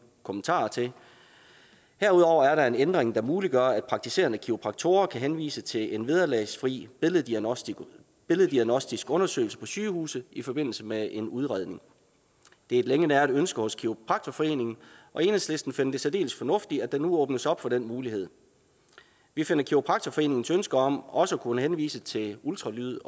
kommentarer til herudover er der en ændring der muliggør at praktiserende kiropraktorer kan henvise til en vederlagsfri billeddiagnostisk billeddiagnostisk undersøgelse på sygehuse i forbindelse med en udredning det er et længe næret ønske hos kiropraktorforeningen og enhedslisten finder det særdeles fornuftigt at der nu åbnes op for den mulighed vi finder kiropraktorforeningens ønske om også at kunne henvise til ultralyd